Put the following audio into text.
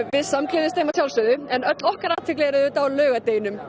við samgleðjumst þeim að sjálfsögðu en öll okkar athygli er auðvitað á laugardeginum